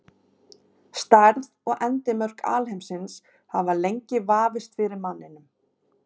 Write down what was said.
Stærð og endimörk alheimsins hafa lengi vafist fyrir manninum.